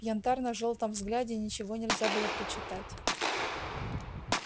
в янтарно-желтом взгляде ничего нельзя было прочитать